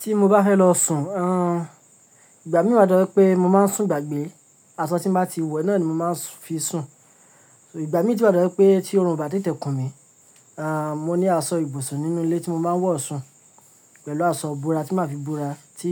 Ti mo ba fẹ́ lọ sùn, à, ìgbà mí wá to je ra pé mo máa ń sùn gbàgbé, aṣọ tí mo bá ti wẹ náà ni mo máa ń fi sùn. Ìgbà mí ti kò dára pé tí oòrùn bá ti tẹ̀kùn mi, à, mo ní aṣọ ibùsùn nínú ilé tí mo máa ń wọ̀ sùn pẹ̀lú aṣọ ìbúra tí màá fi búra tí